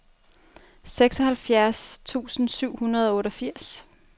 seksoghalvfjerds tusind syv hundrede og otteogfirs